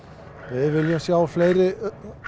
við viljum sjá fleiri